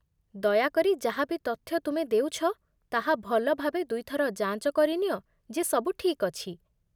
ଦୟାକରି ଯାହା ବି ତଥ୍ୟ ତୁମେ ଦେଉଛ, ତାହା ଭଲ ଭାବେ ଦୁଇ ଥର ଯାଞ୍ଚ କରିନିଅ ଯେ ସବୁ ଠିକ୍ ଅଛି